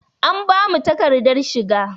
An bamu takadar shiga.